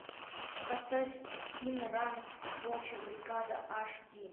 поставь ин ран волчья бригада аш ди